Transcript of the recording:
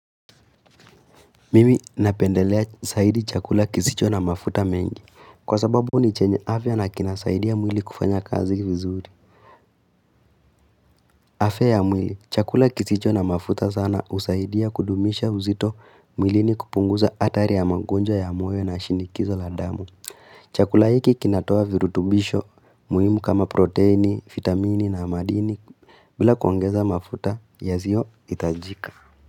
Mimi napendelea zaidi chakula kisicho na mafuta mengi Kwa sababu ni chenye afya na kinasaidia mwili kufanya kazi vizuri afya ya mwili, chakula kisicho na mafuta sana usaidia kudumisha uzito mwilini kupunguza hatari ya magonjawa ya moyo na shinikizo la damu Chakula hiki kinatoa virutubisho muhimu kama proteini, vitamini na amadini bila kuongeza mafuta, yasiyo itajika.